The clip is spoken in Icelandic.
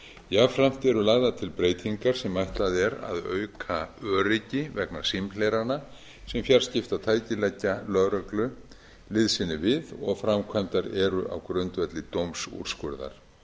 jafnframt eru lagðar til breytingar sem ætlað er að auka öryggi vegna símhlerana sem fjarskiptatæki leggja lögreglu liðsinni við og framkvæmdar eru á grundvelli dómsúrskurðar